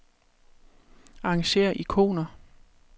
Arrangér ikoner.